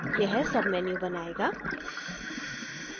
यह sub menu बनायेगा